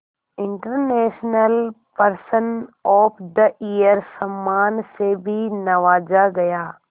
international person of the year सम्मान से भी नवाजा गया